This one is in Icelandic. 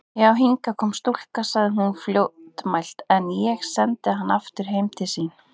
Já, hingað kom stúlka, sagði hún fljótmælt,-en ég sendi hana aftur heim til sín.